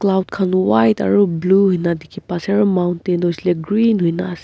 cloud khan white aru blue ena dikhi pa ase aru mountain toh hoishe koile green hoina ase.